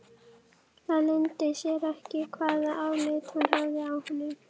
Það leyndi sér ekki hvaða álit hún hafði á honum.